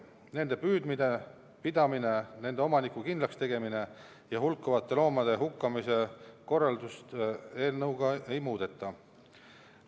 Nende püüdmist ja pidamist, nende omaniku kindlakstegemist ja hulkuvate loomade hukkamise korraldust eelnõuga ei muudeta.